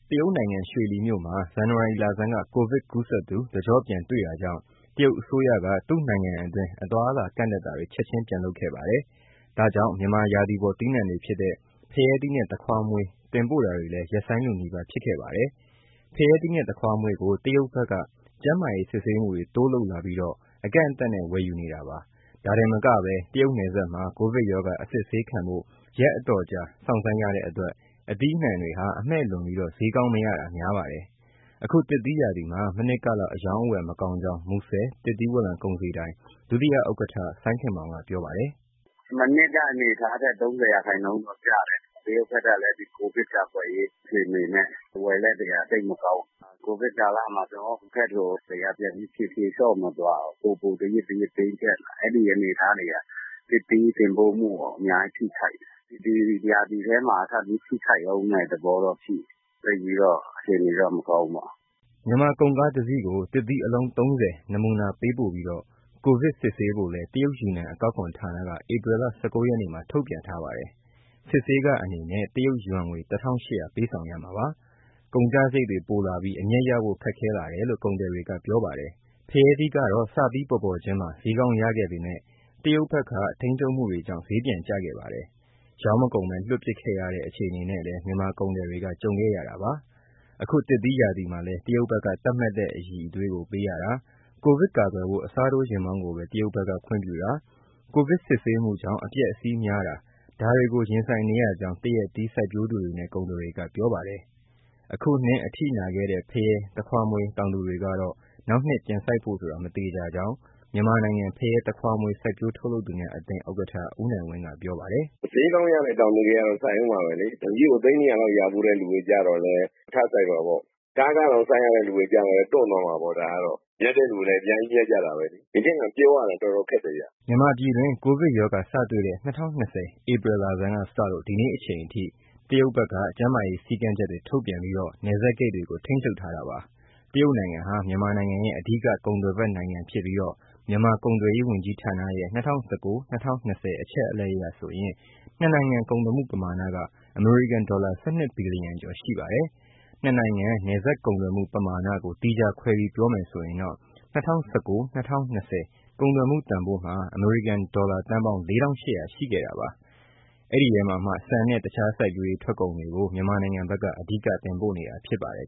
တရုတ်နိုင်ငံ ရွှေလီမြို့မှာ ဇန်နဝါရီလဆန်းက Covid ကူးစက်သူ တကျော့ပြန်တွေ့တာကြောင့် တရုတ်အစိုးရက သူ့နိုင်ငံအတွင်း အသွားအလာ ကန့်သတ်တာတွေ ချက်ချင်း ပြန်လုပ်ခဲ့ပါတယ်။ ဒါကြောင့် မြန်မာရာသီပေါ် သီးနှံတွေဖြစ်တဲ့ ဖရဲသီးနဲ့ သခွားမွှေး တင်ပို့တာတွေလည်း ရပ်ဆိုင်း လုနီးပါး ဖြစ်ခဲ့ပါတယ်။ ဖရဲသီးနဲ့ သခွားမွေးကို တရုတ်ဘက်က ကျန်းမာရေး စစ်ဆေးမှုတွေ တိုးလုပ်လာပြီး အကန့်အသတ်နဲ့ ဝယ်ယူပါတယ်။ ဒါတင်မက တရုတ်နယ်စပ် မှာ ကိုဗစ်ရောဂါ အစစ်ဆေးခံဖို့ ရက်အတော်ကြာ စောင့်ဆိုင်းရတဲ့အတွက် သီးနှံတွေဟာ အမှည့်လွန်ပြီး ဈေးကောင်းမရတာ များပါတယ်။ အခုသစ်သီးရာသီမှာ မနှစ်ကလောက် အရောင်းအဝယ် မကောင်းကြောင်း မူဆယ် သစ်သီးဝလံကုန်စည်ဒိုင် ဒုဥက္ကဋ္ဌ စိုင်းခင်မောင်က ပြောပါတယ်။ “မနှစ်က အနေအထားထက် ၃၀ ရာခိုင်နှုန်းလောက်ကျတယ်။ တရုပ်ဘက်ကလည်း ကိုဗစ်ကာကွယ်ရေး အခြေအနေတွေနဲ့ ဝယ်လက်တွေက သိပ်မကောင်းဘူး။ ကိုဗစ်ကာလမှာ ကျနော်တို့ဘက်ကို ပြန်ပြီး ဖြေလျှော့မသွားဘူး ပိုပိုပြီး တင်းကျပ်လာတယ်။ အဲဒီအနေအထားတွေက သစ်သီးတင်ပို့မှုကို အများကြီး ထိခိုက်တယ်။ ဒီရာသီထဲ ထပ်ပြီး ထိခိုက်မယ့်သဘောတော့ ရှိတယ်။ သိပ်ပြီး အခြေအနေတော့ မကောင်းဘူးပေါ့။” မြန်မာကုန်ကားတစီးကို သစ်သီး အလုံး ၃၀ နမူနာပေးပို့ပြီး ကိုဗစ်စစ်ဆေးဖို့လည်း တရုတ်ယူနန် အကောက်ခွန်ဌာနက ဧပြီလ ၁၉ ရက်မှာ ထုတ်ပြန်ပါတယ်။ စစ်ဆေးခအနေနဲ့ တရုတ်ယွမ်ငွေ ၁၈၀၀ ပေးဆောင်ရမှာပါ။ ကုန်ကျစရိတ်တွေ ပိုလာပြီး အမြတ်ရဖို့ ခက်ခဲလာတယ်လို့ ကုန်သည်တွေက ပြောပါတယ်။ ဖရဲသီးကတော့ စပြီးပေါ်ပေါ်ချင်းမှာ ဈေးကောင်းရခဲ့ပေမဲ့ တရုတ်ဘက်က ထိန်းချုပ်မှုတွေကြောင့် ဈေးပြန်ကျခဲ့ပါတယ်။ ရောင်းမကုန်ဘဲ လွှင့်ပစ်ခဲ့ရတဲ့ အခြေအနေနဲ့လည်း မြန်မာကုန်သည်တွေက ကြုံခဲ့ရတာပါ။ အခုသရက်သီးရာသီမှာလည်း တရုတ်ဘက်က သတ်မှတ်တဲ့ အရည်အသွေးကို ပေးရတာ၊ ကိုဗစ်ကာကွယ်ဖို့ အစားထိုးယာဉ်မောင်းကိုပဲ တရုတ်ဘက်က ခွင့်ပြုတာ၊ ကိုဗစ်စစ်ဆေးမှုကြောင့် အပျက်အစီးများတာ ဒါတွေကို ရင်ဆိုင်နေရကြောင်း သရက်သီး စိုက်ပျိုးသူတွေနဲ့ ကုန်သည်တွေက ပြောပါတယ်။ အခုနှစ်အထိနာခဲ့တဲ့ ဖရဲ၊ သခွားမွေး တောင်သူတွေကတော့ နောက်နှစ်ပြန်စိုက်ဖို့ဆိုတာ မသေချာကြောင်း မြန်မာနိုင်ငံ ဖရဲ၊ သခွားမွှေး စိုက်ပျိုး ထုတ်လုပ် သူများအသင်း ဥက္ကဋ္ဌ ဦးနိုင်ဝင်းက ပြောပါတယ်။ “ဈေးကောင်းရတဲ့ တောင်သူတွေကတော့ စိုက်ဦးမှာပဲလေ။ တစီးကို သိန်း ၂၀၀ လောက် ရဖူးတဲ့သူတွေကျတော့လည်း ထပ်စိုက်မှာပေါ့။ ကားခတောင် စိုက်ရတဲ့ သူတွေကျတော့လည်း တွန့်သွားမှာပေါ့ ဒါကတော့။ မြတ်တဲ့သူလည်း အများကြီး မြတ်ကြတာပဲလေ။ ဒီနှစ်က ပြောရတာ တော်တော်ခက်တယ်ဗျ။” မြန်မာပြည်တွင်း ကိုဗစ်ရောဂါစတွေ့တဲ့ ၂၀၂၀ ဧပြီလဆန်းကစလို့ ဒီနေ့အချိန်အထိ တရုတ်ဘက်က ကျန်းမာရေး စည်းကမ်းချက်တွေ ထုတ်ပြန်ပြီး နယ်စပ်ဂိတ်တွေကို ထိန်းချုပ်ထားတာပါ။ တရုတ်နိုင်ငံဟာ မြန်မာနိုင်ငံရဲ့ အဓိက ကုန်သွယ်ဖက်နိုင်ငံဖြစ်ပြီး မြန်မာကုန်သွယ်ရေး ဝန်ကြီးဌာနရဲ့၂၀၁၉- ၂၀၂၀ အချက်အလက်အရဆိုရင် နှစ်နိုင်ငံ ကုန်သွယ်မှု ပမာဏက အမေရိကန်ဒေါ်လာ ၁၂ ဘီလီယံကျော် ရှိပါတယ်။ နှစ်နိုင်ငံ နယ်စပ်ကုန်သွယ်မှု ပမာဏကို သီးခြားခွဲပြီး ပြောမယ်ဆိုရင်တော့ ၂၀၁၉- ၂၀၂၀ ကုန်သွယ်မှုတန်ဖိုး အမေရိကန်ဒေါ်လာ သန်းပေါင်း ၄၈၀၀ ရှိခဲ့တာပါ။ အဲဒီအထဲမှာ ဆန်နဲ့ တခြားစိုက်ပျိုးရေး ထွက်ကုန်တွေကို မြန်မာနိုင်ငံဘက်က အဓိက တင်ပို့နေတာ ဖြစ်ပါတယ်